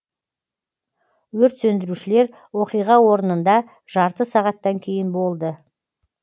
өрт сөндірушілер оқиға орнында жарты сағаттан кейін болды